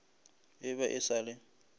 e be e sa le